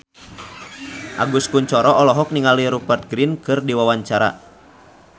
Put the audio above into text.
Agus Kuncoro olohok ningali Rupert Grin keur diwawancara